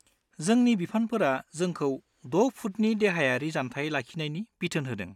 जोंनि बिफानफोरा जोंखौ द' फुटनि देहायारि जानथाय लाखिनायनि बिथोन होदों।